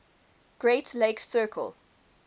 great lakes circle